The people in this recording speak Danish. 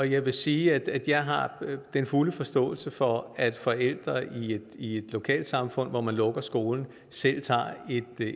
jeg vil sige at jeg har den fulde forståelse for at forældre i i et lokalsamfund hvor man lukker skolen selv tager